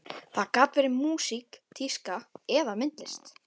Það gat verið músík, tíska eða myndlist.